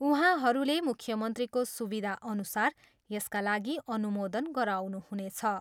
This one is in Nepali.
उहाँहरूले मुख्यमन्त्रीको सुविधा अनुरूप यसका लागि अनुमोदन गराउनुहुनेछ।